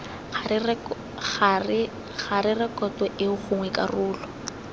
ga rekoto eo gongwe karolo